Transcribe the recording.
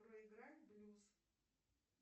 проиграй блюз